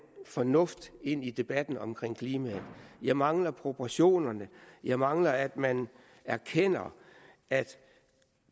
fornuft ind i debatten omkring klimaet jeg mangler proportionerne jeg mangler at man erkender at